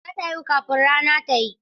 Za ta haihu kafin rana ta yi.